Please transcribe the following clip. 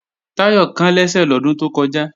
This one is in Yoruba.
Táyọ̀ kán lẹ́sẹ̀ lọ́dún tó kọjá